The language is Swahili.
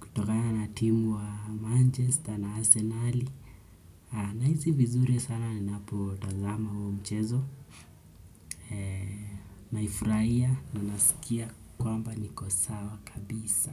kutokana na timu ya Manchester na Arsenali. Nahisi vizuri sana ninapotazama huo mchezo. Naifuraya na nasikia kwamba niko sawa kabisa.